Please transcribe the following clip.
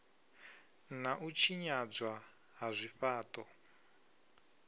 na u tshinyadzwa ha zwifhaṱo